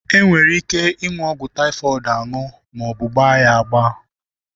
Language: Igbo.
E nwere ike ịṅụ ọgwụ taịfọịd aṅụ maọbụ gbaa ya agba.